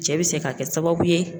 Cɛ bɛ se ka kɛ sababu ye.